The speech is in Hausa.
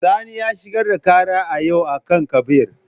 Sani ya shigar da kara a yau a kan kabir.